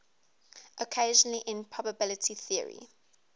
occasionally in probability theory